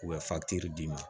U bɛ d'i ma